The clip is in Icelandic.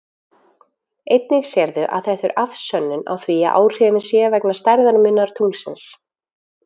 Einnig sérðu að þetta er afsönnun á því að áhrifin séu vegna stærðarmunar tunglsins.